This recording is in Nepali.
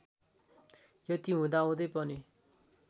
यति हुदाहुँदै पनि